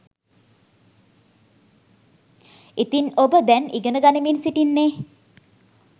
ඉතින් ඔබ දැන් ඉගෙන ගනිමින් සිටින්නේ